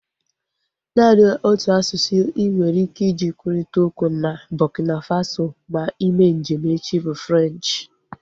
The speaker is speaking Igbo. Naanị otu asụsụ inwere ike iji kwurịta okwu na Burkina Faso ma ime njem echi bụ Frenchi